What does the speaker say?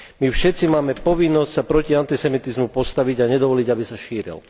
My všetci máme povinnosť sa proti antisemitizmu postaviť a nedovoliť, aby sa šíril.